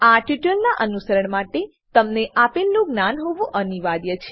આ ટ્યુટોરીયલનાં અનુસરણ માટે તમને આપેલનું જ્ઞાન હોવું અનિવાર્ય છે